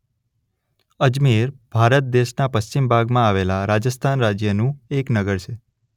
અજમેર ભારત દેશના પશ્ચિમ ભાગમાં આવેલા રાજસ્થાન રાજ્યનું એક નગર છે.